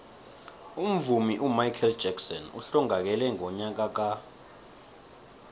umvumi umichael jackson uhlongakele ngonyaka ka